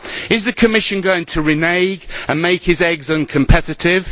Is the Commission going to renege and make his eggs uncompetitive?